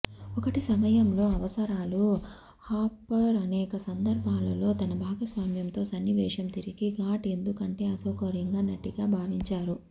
ఒకటి సమయంలో అవసరాలు హాప్పర్ అనేక సందర్భాలలో తన భాగస్వామ్యంతో సన్నివేశం తిరిగి షూట్ ఎందుకంటే అసౌకర్యంగా నటిగా భావించారు